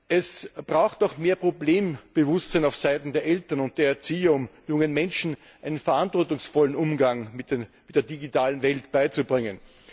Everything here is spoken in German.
Es braucht auch mehr Problembewusstsein auf Seiten der Eltern und der Erziehung, um jungen Menschen einen verantwortungsvollen Umgang mit der digitalen Welt beizubringen.